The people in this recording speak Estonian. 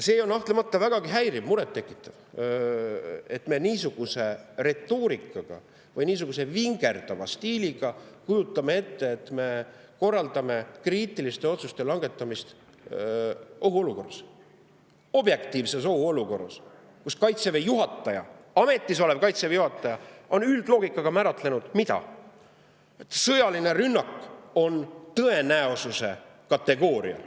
See on kahtlemata vägagi häiriv, muret tekitav, et niisuguse retoorikaga või niisuguse vingerdava stiiliga korraldatakse kriitiliste otsuste langetamist ohuolukorras, objektiivses ohuolukorras, kus Kaitseväe juhataja, ametis olev Kaitseväe juhataja on üldloogikaga määratlenud, et sõjaline rünnak on tõenäosuse kategooria.